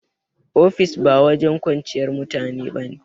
Ofis ba wajen kwanciyar mutane ba ne